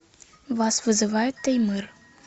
вас вызывает таймыр